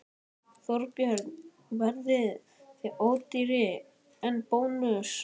Þorbjörn: Verðið þið ódýrari en Bónus?